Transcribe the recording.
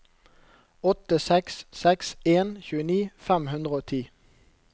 åtte seks seks en tjueni fem hundre og ti